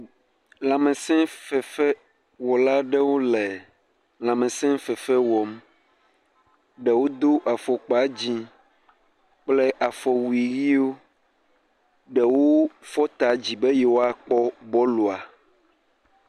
Lãmesefefewɔla aɖewo le lãmesefefe wɔm. Ɖewo do afɔkpa dzi kple afɔwui ʋiwo. Ɖewo fɔ ta dzi be yewoa kpɔ bɔlua.